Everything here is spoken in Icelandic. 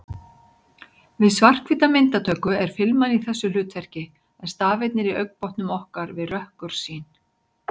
Við svarthvíta myndatöku er filman í þessu hlutverki en stafirnir í augnbotnum okkar við rökkursýn.